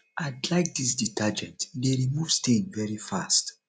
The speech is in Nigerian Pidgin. i like dis detergent e dey remove stain very fast